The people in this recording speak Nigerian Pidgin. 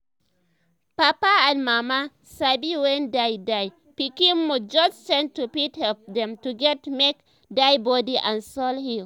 papa and mama sabi wen dia dia pikin mood just change to fit help dem to get make dia body and soul heal